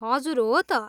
हजुर, हो त।